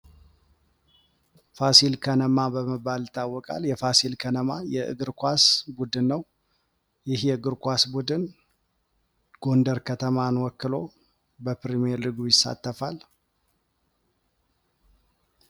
ፋሲል ከነማ በመባል ይታውቃል። የፋሲል ከነማ የእግር ኳስ ቡድን ነው። ይህ የእግር ኳስ ቡድን ጎንደር ከተማን ወክሎ በፕሪምየር ሊጉ ይሳተፋል።